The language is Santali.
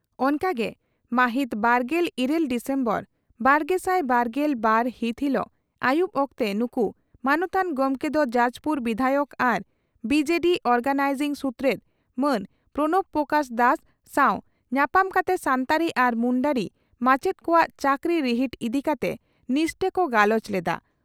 ᱚᱱᱠᱟᱜᱮ ᱢᱟᱹᱦᱤᱛ ᱵᱟᱨᱜᱮᱞ ᱤᱨᱟᱹᱞ ᱰᱤᱥᱮᱢᱵᱚᱨ ᱵᱟᱨᱜᱮᱥᱟᱭ ᱵᱟᱨᱜᱮᱞ ᱵᱟᱨ ᱦᱤᱛ ᱦᱤᱞᱚᱜ ᱟᱹᱭᱩᱵᱽ ᱚᱠᱛᱮ ᱱᱩᱠᱩ ᱢᱟᱱᱚᱛᱟᱱ ᱜᱚᱢᱠᱮ ᱫᱚ ᱡᱟᱡᱽᱯᱩᱨ ᱵᱤᱫᱷᱟᱭᱚᱠ ᱟᱨ ᱵᱤᱹᱡᱮᱹᱰᱤᱹ ᱚᱨᱜᱟᱱᱟᱭᱡᱤᱝ ᱥᱩᱛᱨᱮᱛ ᱢᱟᱱ ᱯᱨᱚᱬᱚᱵᱵᱽ ᱯᱨᱚᱠᱟᱥ ᱫᱟᱥ ᱥᱟᱣ ᱧᱟᱯᱟᱢ ᱠᱟᱛᱮ ᱥᱟᱱᱛᱟᱲᱤ ᱟᱨ ᱢᱩᱱᱰᱟᱹᱨᱤ ᱢᱟᱪᱮᱛ ᱠᱚᱣᱟᱜ ᱪᱟᱹᱠᱨᱤ ᱨᱤᱦᱤᱴ ᱤᱫᱤ ᱠᱟᱛᱮ ᱱᱤᱥᱴᱟᱹ ᱠᱚ ᱜᱟᱞᱚᱪ ᱞᱮᱫᱼᱟ ᱾